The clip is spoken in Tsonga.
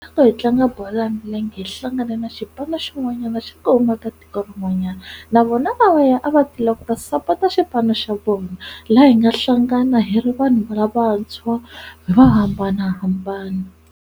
Loko hi tlanga bolo ya milenge hi hlangane na xipano xin'wanyana xa ku huma ka tiko rin'wanyana navona lavaya a va tile ku ta sapota xipano xa vona laha hi nga hlangana hi ri vanhu va lavantshwa hi ri vo hambanahambana.